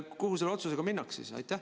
Kuhu selle otsusega siis minnakse?